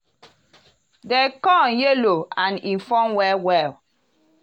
di corn yellow and e form well well.